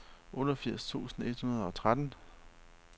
otteogfirs tusind et hundrede og tretten